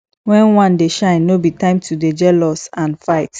wen one dey shine no be time to dey jealous and fight